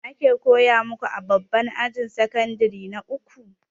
Me ake koya maku a babban ajin sakandire na uku?